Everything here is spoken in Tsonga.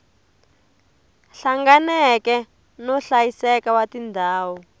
hlanganeke no hlayiseka wa tindhawu